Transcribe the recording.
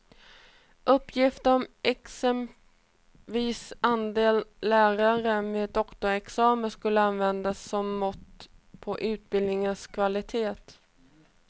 Uppgifter om exempelvis andelen lärare med doktorsexamen skulle användas som mått på utbildningens kvalitet.